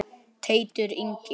Teitur Ingi.